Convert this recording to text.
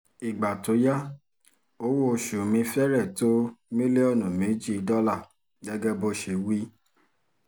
ìgbà tó yá owó-oṣù mi fẹ́rẹ̀ tó mílíọ̀nù méjì dọ́là gẹ́gẹ́ bó ṣe wí